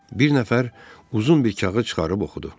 Bir nəfər uzun bir kağız çıxarıb oxudu.